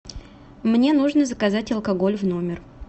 мне нужно заказать алкоголь в номер